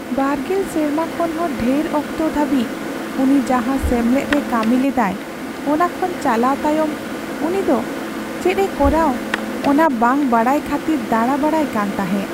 20 ᱥᱮᱨᱢᱟ ᱠᱷᱚᱱ ᱦᱚᱸ ᱰᱷᱮᱨ ᱚᱠᱛᱚ ᱫᱷᱟᱹᱵᱤᱡ ᱩᱱᱤ ᱡᱟᱦᱟᱸ ᱥᱮᱢᱞᱮᱫ ᱨᱮ ᱠᱟᱹᱢᱤ ᱞᱮᱫᱟᱭ, ᱚᱱᱟ ᱠᱷᱚᱱ ᱪᱟᱞᱟᱣ ᱛᱟᱭᱚᱢ, ᱩᱱᱤ ᱫᱚ ᱪᱮᱫ ᱮ ᱠᱚᱨᱟᱣ ᱚᱱᱟ ᱵᱟᱝ ᱵᱟᱰᱟᱭ ᱠᱷᱟᱹᱛᱤᱨ ᱫᱟᱲᱟᱵᱟᱲᱟᱭ ᱠᱟᱱ ᱛᱟᱦᱮᱸ ᱾